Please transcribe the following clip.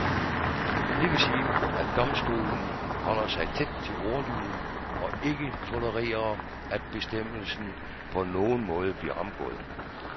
Det vil sige, at domstolen holder sig tæt til ordlyden og ikke tolererer, at bestemmelsen på nogen måde bliver omgået.